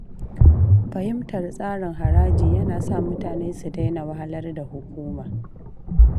Fahimtar tsarin haraji yana sa mutane su daina wahalar da hukuma.